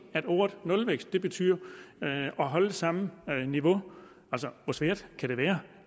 at ordet nulvækst betyder at holde samme niveau hvor svært kan det være